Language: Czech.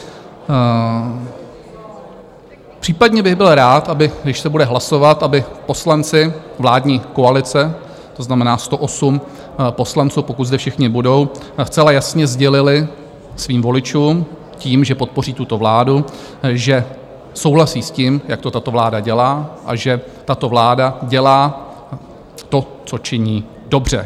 Případně bych byl rád, když se bude hlasovat, aby poslanci vládní koalice, to znamená 108 poslanců, pokud zde všichni budou, zcela jasně sdělili svým voličům, tím, že podpoří tuto vládu, že souhlasí s tím, jak to tato vláda dělá a že tato vláda dělá to, co činí, dobře.